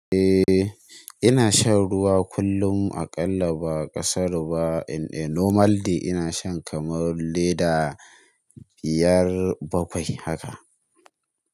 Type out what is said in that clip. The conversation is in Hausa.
Eh ina shan ruwa kullum aƙalla ba ƙasaru ba. Eh in a normal day ina shan kamar leda biyar bakwai haka.